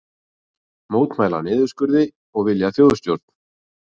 Mótmæla niðurskurði og vilja þjóðstjórn